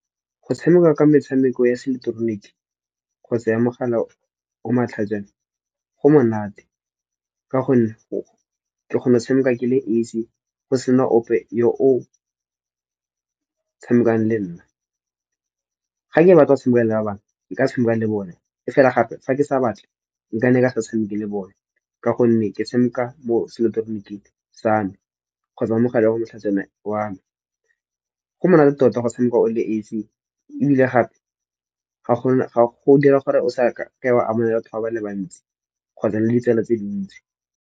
Go tshameka Ka metshameko ya se ileketeroniki kgotsa ya mogala o matlhajana, go monate ka gonne ke kgona go tshameka ke le esi go sena ope yo o tshamekang le nna. Ga ke batla tshameka le ba bangwe Ke ka tshameka le bone, e fela gape fa ke sa batle nka ne ka sa tshameke le bone. Ka gonne ke tshameka mo seileketoroniking sa me kgotsa mo mogaleng o motlhajana wa. Go monate tota go tshameka o le esi ebile gape go dira gore o sa ke wa amogela batho ba le bantsi kgotsa le ditsela tse dintsi.